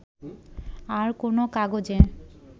আর কোনো কাগজে